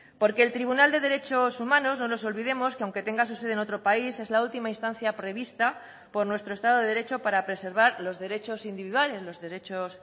porque el tribunal de derechos humanos no nos olvidemos que aunque tenga su sede en otro país es la última instancia prevista por nuestro estado de derecho para preservar los derechos individuales los derechos